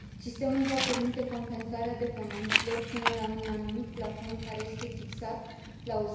Sistemul va permite compensarea deponenților până la un anumit plafon, care este fixat la